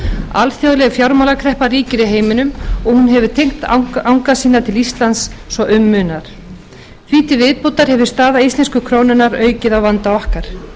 alþjóðleg fjármálakreppa ríkir í heiminum og hún hefur teygt anga sína til íslands svo um munar því til viðbótar hefur staða íslensku krónunnar aukið á vanda okkar